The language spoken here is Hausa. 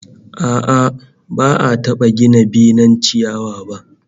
A'a, ba'a taba gina benen ciyawa ba